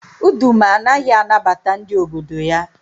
Uduma anaghị anabata ndị obodo ya.